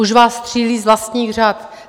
Už vás střílí z vlastních řad.